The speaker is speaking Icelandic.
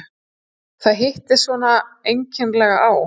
Það hittist svona einkennilega á.